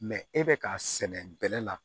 Mɛ e bɛ k'a sɛnɛ bɛlɛ la